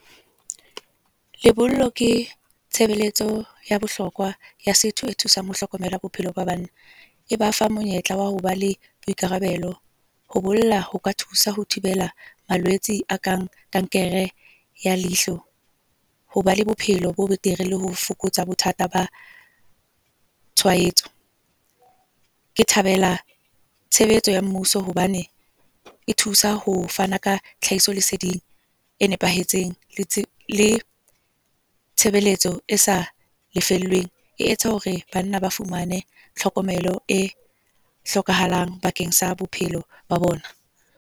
Lebollo ke tshebeletso ya bohlokwa ya setho e thusang ho hlokomela bophelo ba banna. E ba fa monyetla wa hoba le boikarabelo. Ho bolla ho ka thusa ho thibela malwetse a kang, kankere ya leihlo. Hoba le bophelo bo betere le ho fokotsa bothata ba tshwaetso. Ke thabela tshebeletso ya mmuso hobane e thusa ho fana ka tlhahiso leseding e nepahetseng. Le tshebeletso e sa lefellweng e etsa hore banna ba fumane tlhokomelo e hlokahalang bakeng sa bophelo ba bona.